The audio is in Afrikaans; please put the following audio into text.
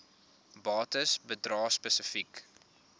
bates bedrae spesifiek